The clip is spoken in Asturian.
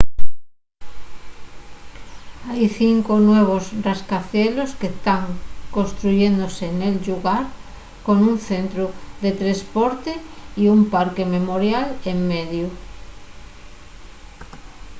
hai cinco nuevos rascacielos que tán construyéndose nel llugar con un centru de tresporte y un parque memorial en mediu